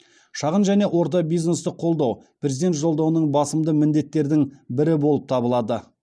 шағын және орта бизнесті қолдау президент жолдауының басымды міндеттердің бірі болып табылады